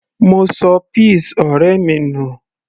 mo ṣọ peas ọ̀rẹ́ mi nù